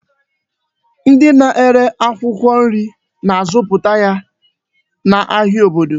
Ndị na-ere akwụkwọ nri na-azụta ya n'ahịa obodo.